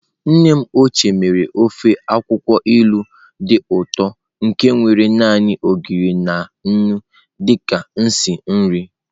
Nne m ochie mere ofe akwụkwọ ilu dị ụtọ nke nwere naanị Ogiri na nnu dị ka isi nri.